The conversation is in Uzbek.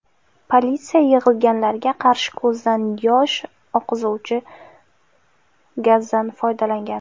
Politsiya yig‘ilganlarga qarshi ko‘zdan yosh oqizuvchi gazdan foydalangan.